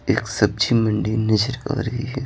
एक सब्जी मंडी नजर आ रही है।